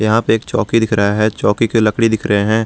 यहां पे एक चौकी दिख रहा है चौकी के लकड़ी दिख रहे हैं।